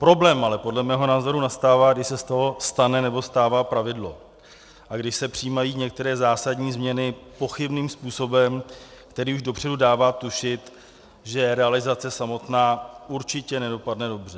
Problém ale podle mého názoru nastává, když se z toho stane nebo stává pravidlo a když se přijímají některé zásadní změny pochybným způsobem, který už dopředu dává tušit, že realizace samotná určitě nedopadne dobře.